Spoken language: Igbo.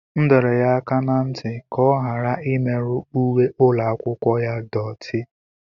M dọrọ ya aka ná ntị ka ọ ghara imerụ uwe ụlọ akwụkwọ ya doti.